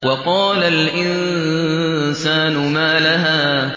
وَقَالَ الْإِنسَانُ مَا لَهَا